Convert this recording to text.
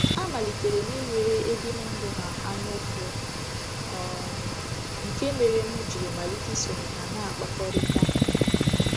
A malitere m inwere ebimụndụ ha anyaụfụ, um nke mere m jiri malite isonye ha na-akpakọrịta.